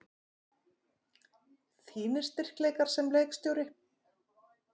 Þínir styrkleikar sem leikstjóri?